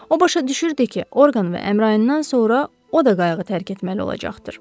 O başa düşürdü ki, Orqan və Əmrayindən sonra o da qayğı tərk etməli olacaqdır.